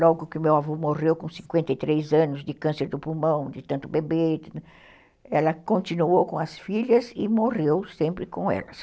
Logo que o meu avô morreu com cinquenta e três anos de câncer do pulmão, de tanto beber, ela continuou com as filhas e morreu sempre com elas.